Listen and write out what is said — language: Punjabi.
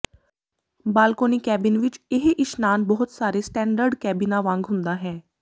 ਬਾਲਕੋਨੀ ਕੈਬਿਨ ਵਿਚ ਇਹ ਇਸ਼ਨਾਨ ਬਹੁਤ ਸਾਰੇ ਸਟੈਂਡਰਡ ਕੈਬਿਨਾਂ ਵਾਂਗ ਹੁੰਦਾ ਹੈ